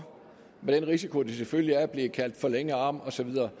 med risiko selvfølgelig at blive kaldt forlængede arm og så videre